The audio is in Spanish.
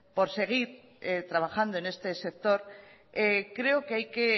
por seguir trabajando en este sector creo que hay que